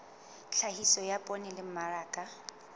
tlhahiso ya poone le mmaraka